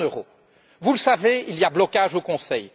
Sur la zone euro vous le savez, il y a blocage au Conseil.